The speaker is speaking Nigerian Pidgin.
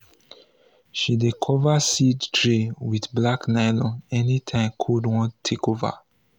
she dey cover seed tray with black nylon anytime cold wan take over.